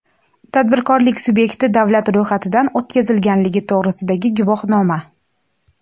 tadbirkorlik sub’ekti davlat ro‘yxatidan o‘tkazilganligi to‘g‘risidagi guvohnoma;.